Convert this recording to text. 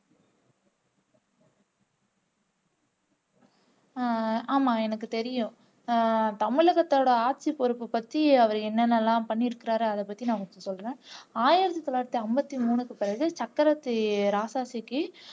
உம் ஆமா எனக்கு தெரியும் அஹ் தமிழகத்தோட ஆட்சிபொறுப்பை பத்தி அவர் என்னென்ன எல்லாம் பண்ணி இருக்கிறாரு அதைப்பத்தி நான் உங்களுக்கு சொல்றேன் ஆயிரத்து தொள்ளாயிரத்து ஐம்பத்து மூணுக்கு பிறகு ராஜாஜிக்கு